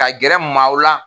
Ka gɛrɛ maaw la